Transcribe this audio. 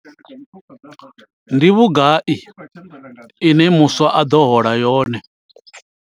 Ndi vhugai ine muswa a ḓo hola yone.